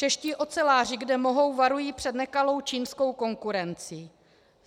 Čeští oceláři, kde mohou, varují před nekalou čínskou konkurencí.